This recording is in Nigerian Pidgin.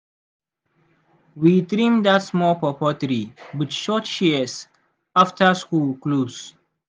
we trim that small pawpaw tree with short shears after school close.